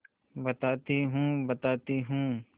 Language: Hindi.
बताती हूँ बताती हूँ